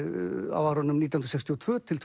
á árunum nítján hundruð sextíu og tvö til